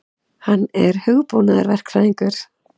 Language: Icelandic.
Hann er hugbúnaðarverkfræðingur.